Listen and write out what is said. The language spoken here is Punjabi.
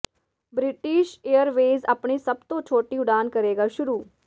ਬ੍ਰਿਟਿਸ਼ ਏਅਰਵੇਜ਼ ਆਪਣੀ ਸਭ ਤੋਂ ਛੋਟੀ ਉਡਾਣ ਕਰੇਗਾ ਸ਼ੁਰੂ